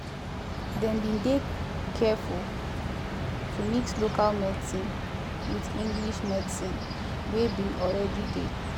dem been dey careful to mix local medicine with english medicine wey been already dey